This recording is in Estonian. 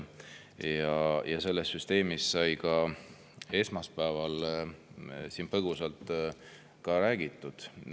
Sellest süsteemist sai ka esmaspäeval siin põgusalt räägitud.